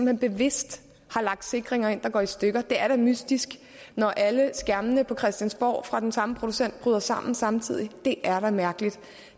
hen bevidst har lagt sikringer ind der går i stykker det er da mystisk når alle skærmene på christiansborg fra den samme producent bryder sammen samtidig det er da mærkeligt